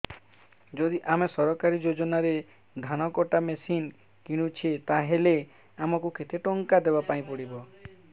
ଯଦି ଆମେ ସରକାରୀ ଯୋଜନାରେ ଧାନ କଟା ମେସିନ୍ କିଣୁଛେ ତାହାଲେ ଆମକୁ କେତେ ଟଙ୍କା ଦବାପାଇଁ ପଡିବ